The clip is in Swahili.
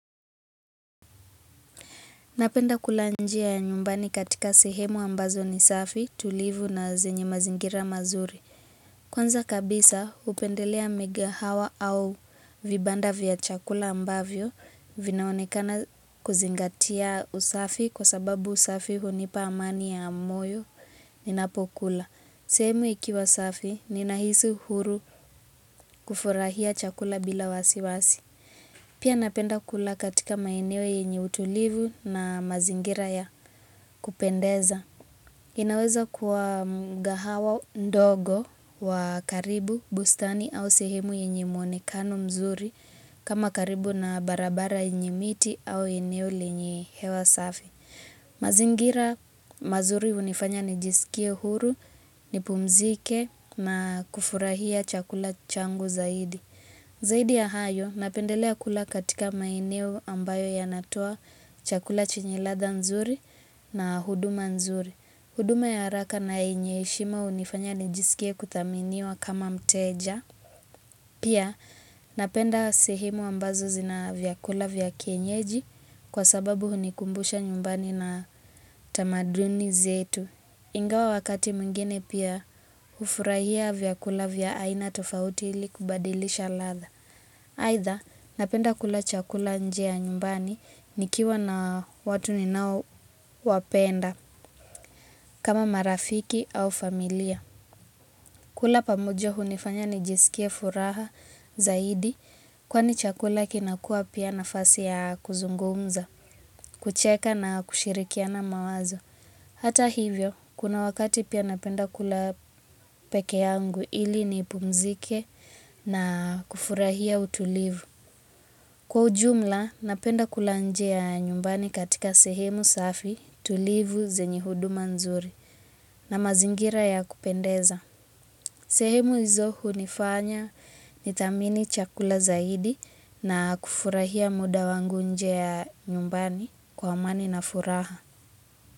Napenda kula njia ya nyumbani katika sehemu ambazo ni safi, tulivu na zenye mazingira mazuri. Kwanza kabisa hupendelea migahawa au vibanda vya chakula ambavyo vinaonekana kuzingatia usafi kwa sababu usafi hunipa amani ya moyo ninapokula. Sehemu ikiwa safi ninahisi uhuru kufurahia chakula bila wasi wasi. Pia napenda kula katika maeneo yenye utulivu na mazingira ya kupendeza. Inaweza kuwa mgahawa ndogo wa karibu, bustani au sehemu yenye muonekano mzuri kama karibu na barabara yenye miti au eneo lenye hewa safi. Mazingira mazuri hunifanya nijisikie huru, nipumzike na kufurahia chakula changu zaidi. Zaidi ya hayo, napendelea kula katika maeneo ambayo yanatoa chakula chenye ladha nzuri na huduma nzuri. Huduma ya haraka na yenye heshima hunifanya nijisikie kuthaminiwa kama mteja. Pia, napenda sehimu ambazo zina vyakula vya kienyeji kwa sababu hunikumbusha nyumbani na tamaduni zetu. Ingawa wakati mngini pia ufurahia vya kula vya aina tofauti ili kubadilisha latha. Haitha napenda kula chakula njea nyumbani nikiwa na watu ninao wapenda kama marafiki au familia. Kula pamujo hunifanya nijisikia furaha zaidi kwani chakula kinakua pia na fasi ya kuzungumza, kucheka na kushirikia na mawazo. Hata hivyo, kuna wakati pia napenda kula peke yangu ili ni pumzike na kufurahia utulivu. Kwa ujumla, napenda kulanjea nyumbani katika sehemu safi tulivu zenyi huduma nzuri na mazingira ya kupendeza. Sehemu izohu nifanya nitamini chakula zaidi na kufurahia muda wangu njea nyumbani kwa mani na furaha.